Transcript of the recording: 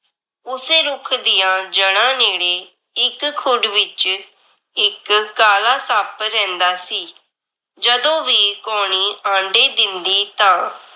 ਉਸੇ ਰੁੱਖ ਦੀਆਂ ਜੜ੍ਹਾ ਨੇੜੇ ਇੱਕ ਖੁੱਡ ਵਿਚ ਇੱਕ ਕਾਲਾ ਸੱਪ ਰਹਿੰਦਾ ਸੀ। ਜਦੋਂ ਵੀ ਕਾਉਣੀ ਆਂਡੇ ਦਿੰਦੀ ਤਾਂ